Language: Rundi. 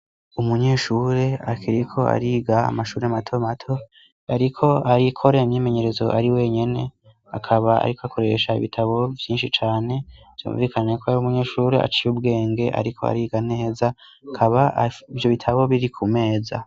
Umunyeshuri akiriko ariga amashuri mato mato ariko arikora imyimenyerezo ari wenyene akaba ariko akoresha ibitabo vyinshi cane vyumvikana ko yari umunyeshuri aciye ubwenge ariko ariga neza akaba ivyo bitabo biri ku meza.